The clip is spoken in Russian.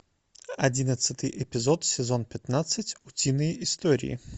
одиннадцатый эпизод сезон пятнадцать утиные истории